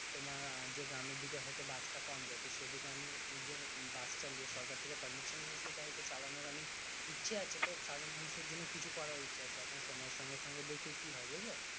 তোমার যে গ্রামের দিকে হয়তো বাস তা হয়তো কম যাই তো সেদিকে আমি নিজের বাস চালিয়ে সরকার থেকে permission নিয়ে সেইটা হয়তো চালানোর আমি ইচ্ছে আছে তো সাধারণ মানুষ এর জন্য কিছু করার ইচ্ছে আছে এখন সময় এর সঙ্গে সঙ্গে দেখি কি হয় বুঝলে